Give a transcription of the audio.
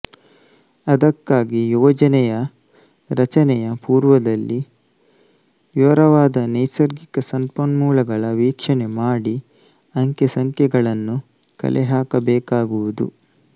ಅದಕ್ಕಾಗಿ ಯೋಜನೆಯ ರಚನೆಯ ಪುರ್ವದಲ್ಲಿ ವಿವರವಾದ ನೈಸರ್ಗಿಕ ಸಂಪನ್ಮೂಲಗಳ ವೀಕ್ಷಣೆ ಮಾಡಿ ಅಂಕೆ ಸಂಖ್ಯೆಗಳನ್ನು ಕಲೆಹಾಕಬೇಕಾಗುವುದು